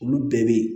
Olu bɛɛ bɛ yen